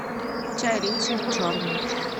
чай ричард черный